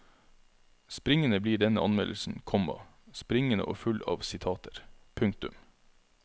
Springende blir denne anmeldelsen, komma springende og full av sitater. punktum